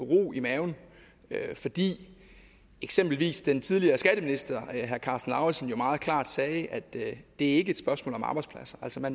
ro i maven fordi eksempelvis den tidligere skatteminister herre karsten lauritzen jo meget klart sagde at det ikke er et spørgsmål om arbejdspladser altså at